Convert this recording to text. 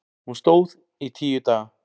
Hún stóð í tíu daga.